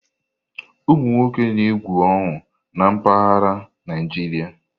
Ụmụ nwoke na-egwu ọñụ na mpaghara Naịjirịa.